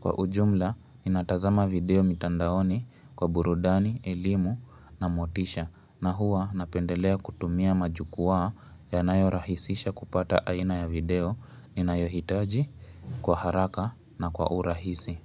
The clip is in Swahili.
Kwa ujumla, ninatazama video mitandaoni kwa burudani, elimu na motisha na huwa napendelea kutumia majukwaa yanayo rahisisha kupata aina ya video ninayo hitaji kwa haraka na kwa urahisi.